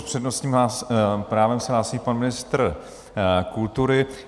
S přednostním právem se hlásí pan ministr kultury.